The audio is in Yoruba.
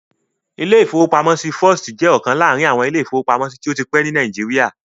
Ilé-ìfowópamọ́sí First jẹ́ ọ̀kan láàrin àwọn ilé-ìfowópamọ́sí tó ti pẹ́ ní Nàìjíríà